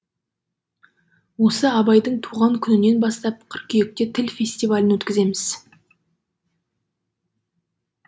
осы абайдың туған күнінен бастап қыркүйекте тіл фестивалін өткіземіз